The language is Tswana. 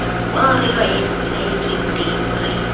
kwao re laetsweng teng re